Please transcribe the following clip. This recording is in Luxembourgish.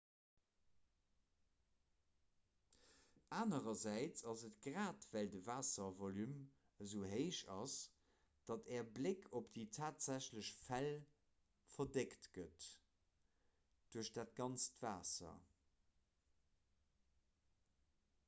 anerersäits ass et grad well de waasservolume esou héich ass datt äre bléck op déi tatsächlech fäll verdeckt gëtt duerch dat ganzt waasser